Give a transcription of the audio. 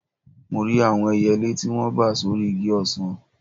Mo rí àwọn ẹyẹlé tí wọ́n bà sórí igi ọsàn